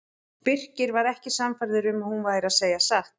Birkir var ekki sannfærður um að hún væri að segja satt.